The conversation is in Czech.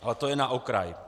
Ale to jen na okraj.